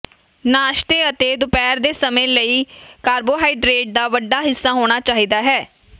ਨਾਸ਼ਤੇ ਅਤੇ ਦੁਪਹਿਰ ਦੇ ਸਮੇਂ ਲਈ ਕਾਰਬੋਹਾਈਡਰੇਟ ਦਾ ਵੱਡਾ ਹਿੱਸਾ ਹੋਣਾ ਚਾਹੀਦਾ ਹੈ